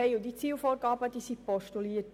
Es wurden Zielvorgaben postuliert.